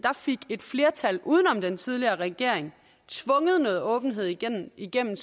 fik et flertal uden om den tidligere regering tvunget noget åbenhed igennem igennem